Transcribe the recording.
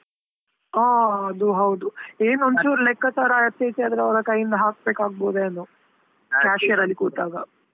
ಹಾ ಅದು ಹೌದು, ಏನು ಒಂದು ಚೂರ್ ಲೆಕ್ಕಚಾರಾ ಆಚೆ ಈಚೆ ಆದ್ರೆ, ಅವ್ರ ಕೈಯಿಂದಾ ಹಾಕ್ಬೇಕು ಆಗಬೋದ ಏನೋ ಅಲ್ಲಿ ಕೂತಾಗಾ?